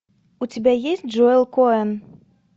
у тебя есть джоэл коэн